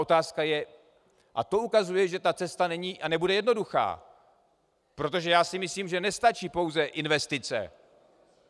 Otázka je - a to ukazuje, že ta cesta není a nebude jednoduchá, protože já si myslím, že nestačí pouze investice.